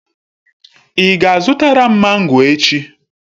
Ị ga-azụtara m mango echi?